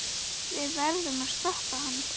Við verðum að stoppa hann.